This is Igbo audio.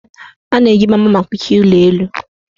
A na-eji gbamgbam akụchi ụlọelu.